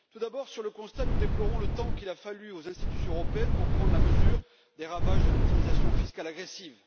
Tout d'abord, sur le constat nous déplorons le temps qu'il a fallu aux institutions européennes pour prendre la mesure des ravages de l'optimisation fiscale agressive.